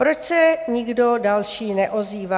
Proč se nikdo další neozývá?"